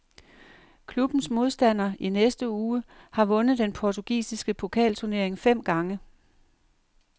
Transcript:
Klubbens modstander i næste uge har vundet den portugisiske pokalturnering fem gange.